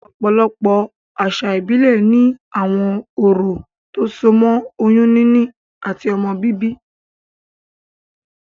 Òpòlopò àsà ìbílè ni àwon orò tó so mó oyún níní àti ọmọ bíbí